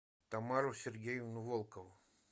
тамару сергеевну волкову